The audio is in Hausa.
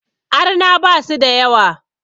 Arna basu da yawa